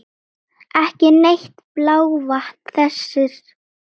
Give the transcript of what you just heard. Ekki neitt blávatn þessi karl!